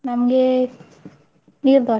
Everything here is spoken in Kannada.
ನಮ್ಗೇ, neer dosa .